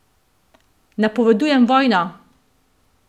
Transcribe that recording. Napovedujem vojno!